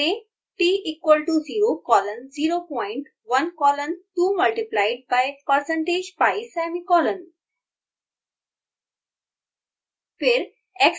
यहाँ टाइप करें: t equal to zero colon zero point one colon two multiplied by precentage pi semicolon